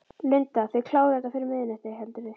Linda: Þið klárið þetta fyrir miðnætti, heldurðu?